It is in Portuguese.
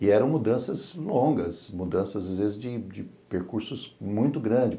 E eram mudanças longas, mudanças, às vezes, de percursos muito grandes.